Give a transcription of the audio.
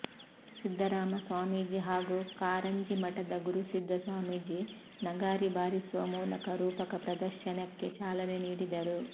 ಸಿದ್ಧರಾಮ ಸ್ವಾಮೀಜಿ ಹಾಗೂ ಕಾರಂಜಿಮಠದ ಗುರುಸಿದ್ಧ ಸ್ವಾಮೀಜಿ ನಗಾರಿ ಬಾರಿಸುವ ಮೂಲಕ ರೂಪಕ ಪ್ರದರ್ಶನಕ್ಕೆ ಚಾಲನೆ ನೀಡಿದರು